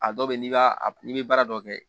A dɔw bɛ yen n'i b'a n'i bɛ baara dɔ kɛ